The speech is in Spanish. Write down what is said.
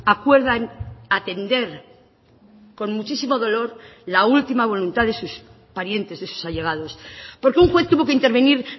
acuerdan atender con muchísimo dolor la última voluntad de sus parientes de sus allegados porque un juez tuvo que intervenir